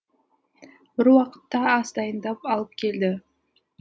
бір уақытта ас дайындап алып келді